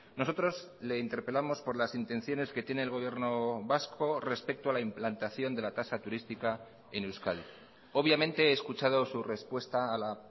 nosotros le interpelamos por las intenciones que tiene el gobierno vasco respecto a la implantación de la tasa turística en euskadi obviamente he escuchado su respuesta a la